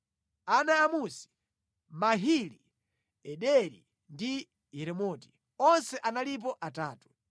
Ana a Musi: Mahili, Ederi ndi Yeremoti. Onse analipo atatu.